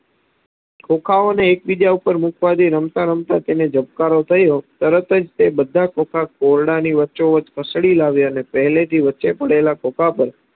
ખોખાઓને એક બીજા ઉપર મુકવાથી રમતાં~રમતાં તેને ઝબકારો થયો તરતજ તે બધા ખોખા ઓરડાની વચોવચ ઢસડી લાવ્ય અને પહેલેથી વચ્ચેપડેલા ખોખા પર